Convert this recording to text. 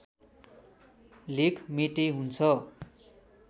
लेख मेटे हुन्छ